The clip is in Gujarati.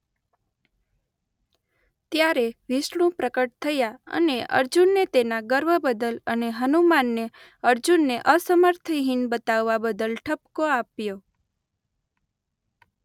ત્યારે વિષ્ણુ પ્રકટ થયાં અને અર્જુનને તેના ગર્વ બદલ અને હનુમાનને અર્જુનને અસમર્થ હીન બતાવવા બદલ ઠપકો આપ્યો.